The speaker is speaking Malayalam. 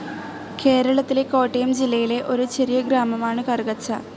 കേരളത്തിലെ കോട്ടയം ജില്ലയിലെ ഒരു ചെറിയ ഗ്രാമമാണു കറുകച്ചാൽ.